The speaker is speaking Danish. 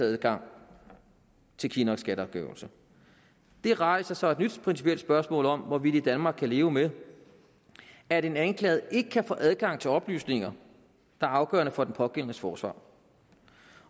adgang til kinnocks skatteafgørelse det rejser så et nyt principielt spørgsmål om hvorvidt vi i danmark kan leve med at en anklaget ikke kan få adgang til oplysninger der er afgørende for den pågældendes forsvar